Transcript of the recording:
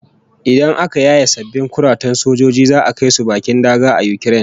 Idan aka yaye sabbin kuratan sojojin za'a kai su bakin daga a Ukraine